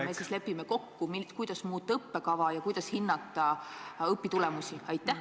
... me siis lepime kokku, kuidas muuta õppekava ja kuidas hinnata õpitulemusi?